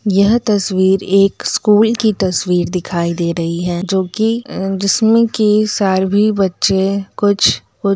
यह तस्वीर एक स्कूल की तस्वीर दिखाई दे रही है जो कि हम्म जिसमे की सर्वि बच्चे कुछ कु --